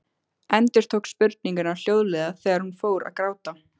Endurtók spurninguna hljóðlega þegar hún fór að gráta.